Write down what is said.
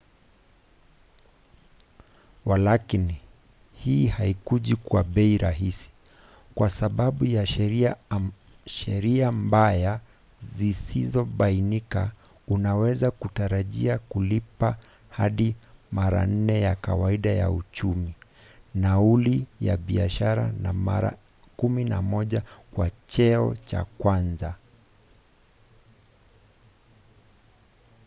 walakini hii haikuji kwa bei rahisi: kwa sababu ya sheria mbaya zisizobainika unaweza kutarajia kulipa hadi mara nne ya kawaida ya uchumi nauli ya biashara na mara 11 kwa cheo cha kwanza!